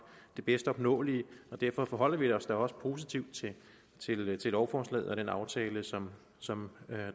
det bedst opnåelige og derfor forholder vi os da også positivt til lovforslaget og den aftale som som